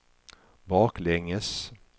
baklänges